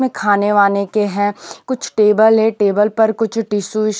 में खाने वाने के हैं कुछ टेबल है टेबल पर कुछ टिशू --